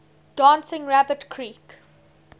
dancing rabbit creek